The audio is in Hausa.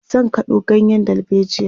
zan kado ganyen dalbejia